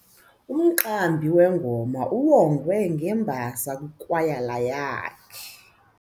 Umqambi wengoma uwongwe ngembasa yikwayala yakhe.